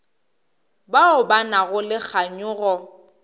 bao ba nago le kganyogo